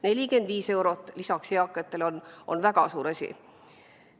45 eurot lisaks on eakatele väga suur asi.